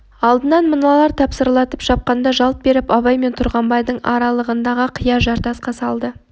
алдынан мыналар тасырлатып шапқанда жалт беріп абай мен тұрғанбайдың аралығындағы қия жартасқа салды